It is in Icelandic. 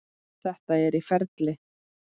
Þetta er í ferli.